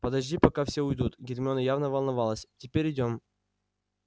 подожди пока все уйдут гермиона явно волновалась теперь идём